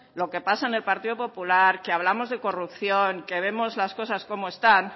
lo que pasa en el partido popular que hablamos de corrupción que vemos las cosas cómo están